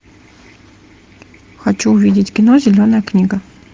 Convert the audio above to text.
хочу увидеть кино зеленая книга